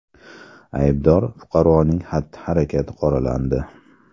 Aybdor fuqaroning xatti-harakati qoralandi.